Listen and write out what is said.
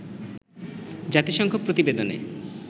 জাতিসংঘ প্রতিবেদনে